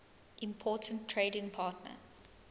important trading partner